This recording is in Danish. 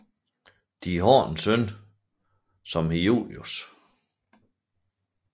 De har en søn som hedder Julius